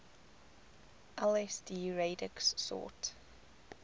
lsd radix sort